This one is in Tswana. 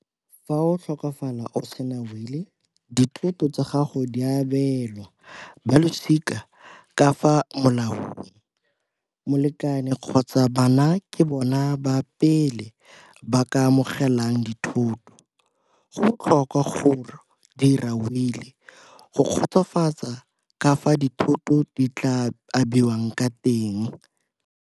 Fa o tlhokafala o sena will-i, dithoto tsa gago di abelwa balosika ka fa molaong, molekane kgotsa bana ke bona ba pele ba ka amogelang dithoto. Go botlhokwa go dira will-i go kgotsofatsa kafa dithoto di tla abiwang ka teng.